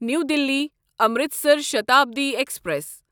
نیو Delhi Amritsar Shatabdi express